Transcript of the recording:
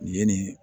Nin ye nin